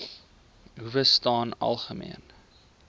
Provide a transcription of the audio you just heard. howe staan algemeen